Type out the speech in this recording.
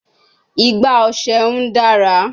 Igbá ọṣẹ n dara